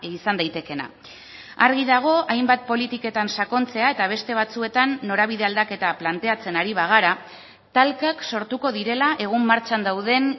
izan daitekeena argi dago hainbat politiketan sakontzea eta beste batzuetan norabide aldaketa planteatzen ari bagara talkak sortuko direla egun martxan dauden